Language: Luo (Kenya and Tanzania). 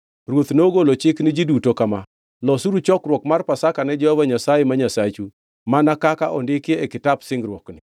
Ruoth nogolo chik ni ji duto kama: “Losuru chokruok mar Pasaka ne Jehova Nyasaye ma Nyasachu, mana kaka ondiki e Kitap Singruokni.”